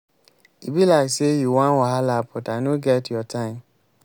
e be like say you wan wahala but i no get your time.